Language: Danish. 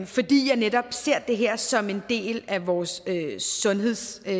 fordi jeg netop ser det her som en del af vores sundhedssektor